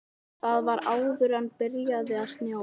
Það var áður en byrjaði að snjóa.